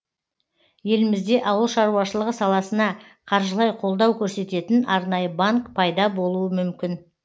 елімізде ауыл шаруашылығы саласына қаржылай қолдау көрсететін арнайы банк пайда болуы мүмкін